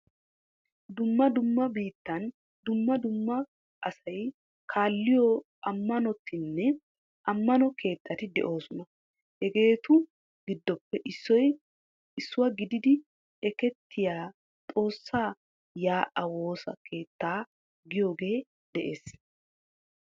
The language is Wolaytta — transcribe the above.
Dumma dumma biittan dumma dumma asay kaalliyo ammanotinne ammano keettati de'oosona. Hegeetu giddoppe issuwa gididi ekettiya xoossaa yaa'aa woosa keettaa giyagee de'ees.